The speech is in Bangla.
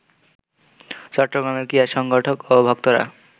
চট্টগ্রামের ক্রীড়া সংগঠক ও ভক্তরা